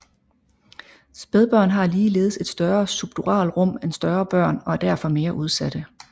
Spædbørn har ligeledes et større subduralrum end større børn og er derfor mere udsatte